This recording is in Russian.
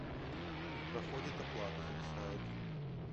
не проходит оплата зависает